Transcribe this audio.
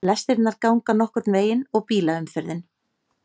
Lestirnar ganga nokkurn veginn og bílaumferðin